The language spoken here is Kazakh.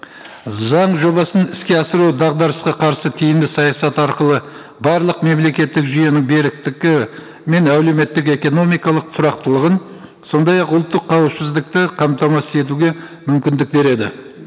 заң жобасын іске асыру дағдарысқа қарсы тиімді саясат арқылы барлық мемлекеттік жүйенің беріктігі мен әлеуметтік экономикалық тұрақтылығын сондай ақ ұлттық қауіпсіздікті қамтамасыз етуге мүмкіндік береді